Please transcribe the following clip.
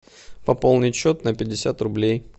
пополнить счет на пятьдесят рублей